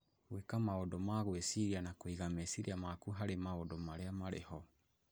Gwĩka maũndũ ma gwĩciria na kũiga meciria maku harĩ maũndũ marĩa marĩ ho